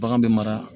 Bagan bɛ mara